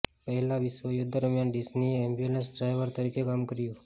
પહેલા વિશ્વયુદ્ધ દરમિયાન ડિઝનીએ એમ્બ્યુલન્સના ડ્રાઈવર તરીકે કામ કર્યું